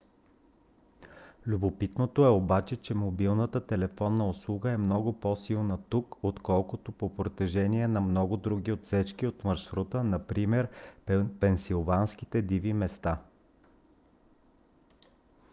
любопитното е обаче че мобилната телефонна услуга е много по - силна тук отколкото по протежение на много други отсечки от маршрута например пенсилванските диви места